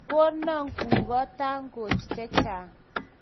Kogono gugo tangoch chechang'.